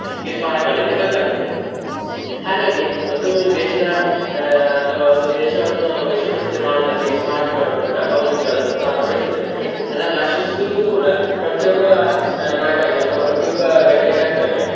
ಈ ಸ್ಮಾರಕಗಳಿಂದ ಗೊತ್ತಾಗ್ತದೆ, ಹಾಗಾಗಿ ಒಂದು ದೇಶದ ಆಹ್ ಅಥವಾ ಒಂದು ದೇಶವನ್ನು ವಿಶ್ವ ಪ್ರಸಿದ್ಧಿ ಮಾಡುದ್ರಲ್ಲಿ ಈ ಸ್ಮಾರಕಗಳು ಕೂಡ ಬಹು ಮುಖ್ಯವಾದ ಪಾತ್ರ ವಹಿಸ್ತದೆ, ಅದನ್ನು ರಕ್ಷಿಸುದು ಕೂಡ ಪ್ರತಿ ಓಬ್ಬ ನಾಗರಿಕ ಅಥವಾ ಪ್ರತಿ ಓಬ್ಬ ವ್ಯಕ್ತಿಯ ಕರ್ತವ್ಯ.